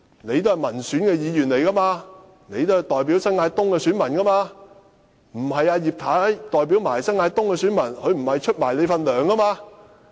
你也是民選議員，代表新界東的選民，而葉太沒有代表他們，她也沒有支取你的薪酬。